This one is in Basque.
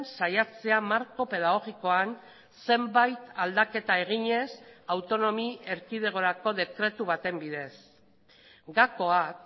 saiatzea marko pedagogikoan zenbait aldaketa eginez autonomi erkidegorako dekretu baten bidez gakoak